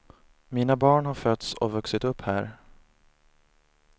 Mina barn har fötts och vuxit upp här.